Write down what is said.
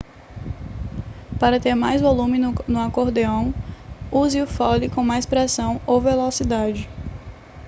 para ter mais volume no acordeão use o fole com mais pressão ou velocidade